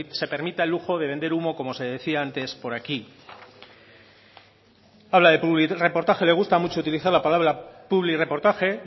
pues se permita el lujo de vender humo como se decía antes por aquí habla de publirreportaje le gusta mucho utilizar la palabra publirreportaje